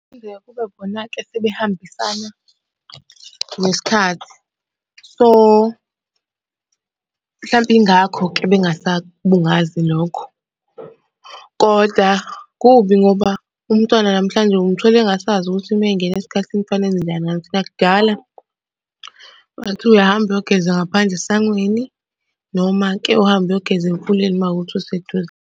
Kuphinde kube khona-ke asebehambisana nesikhathi, so, mhlampe ingakho-ke bengasakubungazi lokho, koda kubi ngoba umntwana namhlanje umthola engasazi ukuthi uma engena esikhathini kufanele enze njani ngaleso sikhathi, nakudala uma kuthiwa uyahamba uyogeza ngaphandle esangweni noma-ke uhambe uyogeza emfuleni uma kuwukuthi useduze.